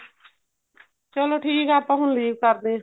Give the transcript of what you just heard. ਚਲੋ ਠੀਕ ਏ ਆਪਾਂ ਹੁਣ leave ਕਰਦੇ ਆ